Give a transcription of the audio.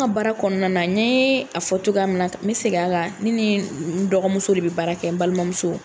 baara kɔnɔna na n ɲe a fɔ cogoya min na n bɛ segin a kan ne ni n dɔgɔmuso de bɛ baara kɛ n balimamuso.